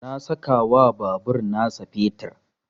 Na saka wa babur na sa fetur